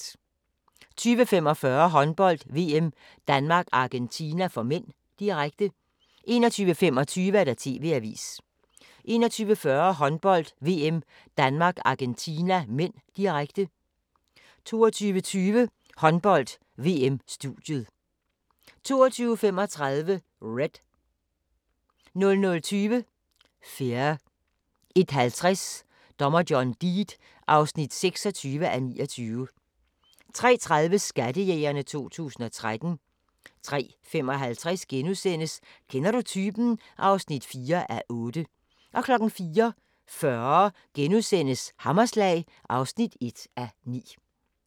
20:45: Håndbold: VM - Danmark-Argentina (m), direkte 21:25: TV-avisen 21:40: Håndbold: VM - Danmark-Argentina (m), direkte 22:20: Håndbold: VM - studiet 22:35: Red 00:20: Fear 01:50: Dommer John Deed (26:29) 03:30: Skattejægerne 2013 03:55: Kender du typen? (4:8)* 04:40: Hammerslag (1:9)*